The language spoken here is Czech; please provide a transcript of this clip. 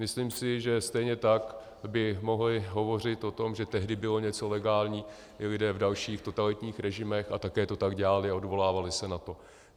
Myslím si, že stejně tak by mohli hovořit o tom, že tehdy bylo něco legální, i lidé v dalších totalitních režimech, a také to tak dělali a odvolávali se na to.